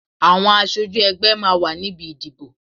Àwọn aṣojú ẹgbẹ́ máa wà níbi ìdìbò.